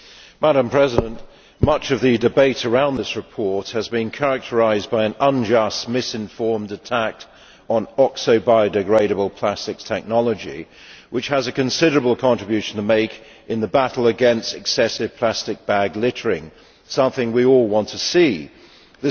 Madam President, much of the debate around this report has been characterised by an unjust, misinformed attack on oxo-biodegradable plastics technology, which has a considerable contribution to make in the battle against excessive plastic bag littering, which is something we would all like to stop.